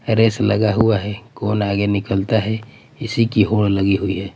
Race लगा हुआ हैं कौन आगे निकलता हैं इसी की होड़ लगी हुई हैं।